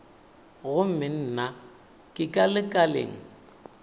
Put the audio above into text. gomme nna ke ka lekaleng